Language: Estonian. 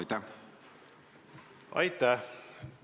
Aitäh!